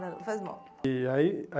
Não Faz mal. E aí